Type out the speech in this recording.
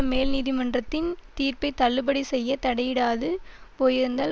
மேல் நீதிமன்றத்தின் தீர்ப்பை தள்ளுபடி செய்ய தடையிடாது போயிருந்தால்